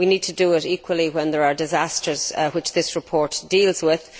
We need to do it equally when there are disasters, which this report deals with.